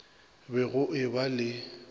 be go e ba le